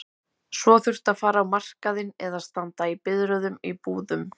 Svo þurfti að fara á markaðinn eða standa í biðröðum í búðum.